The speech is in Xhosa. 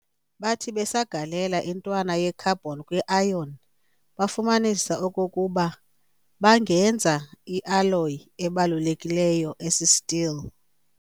Bathi besagalela intwana ye-carbon kwi-iron, bafumanisa okokuba bangenza i-alloy ebalulekileyo - esi-steel.